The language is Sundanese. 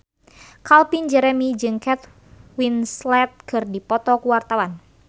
Calvin Jeremy jeung Kate Winslet keur dipoto ku wartawan